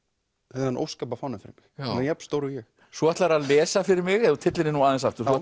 þennan óskapa fána fyrir mig hann er jafnstór og ég svo ætlarðu að lesa fyrir mig ef þú tyllir þér aðeins aftur þú